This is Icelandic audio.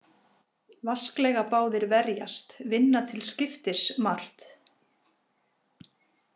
Vasklega báðir verjast vinna til skiptis margt.